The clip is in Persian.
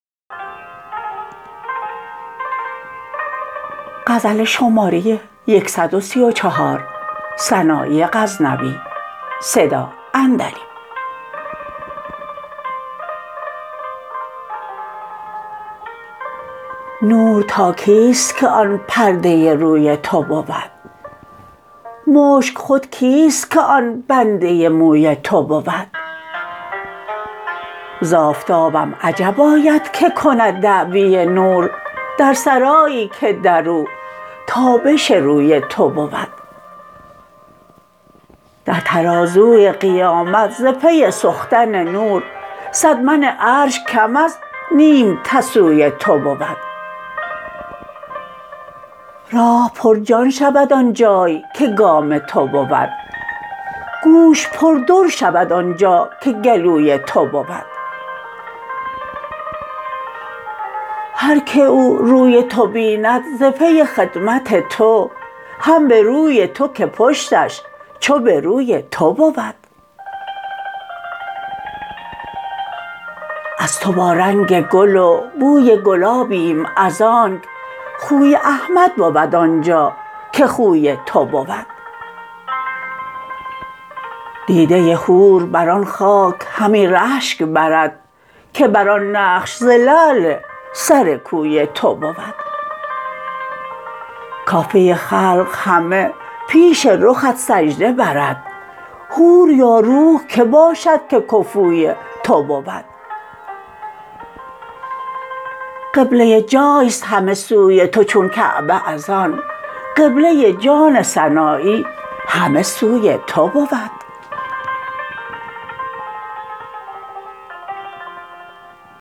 نور تا کیست که آن پرده روی تو بود مشک خود کیست که آن بنده موی تو بود ز آفتابم عجب آید که کند دعوی نور در سرایی که درو تابش روی تو بود در ترازوی قیامت ز پی سختن نور صد من عرش کم از نیم تسوی تو بود راه پر جان شود آن جای که گام تو بود گوش پر در شود آنجا که گلوی تو بود هر که او روی تو بیند ز پی خدمت تو هم به روی تو که پشتش چو به روی تو بود از تو با رنگ گل و بوی گلابیم از آنک خوی احمد بود آنجا که خوی تو بود دیده حور بر آن خاک همی رشک برد که بر آن نقش ز لعل سر کوی تو بود کافه خلق همه پیش رخت سجده برد حور یا روح که باشد که کفوی تو بود قبله جایست همه سوی تو چون کعبه از آن قبله جان سنایی همه سوی تو بود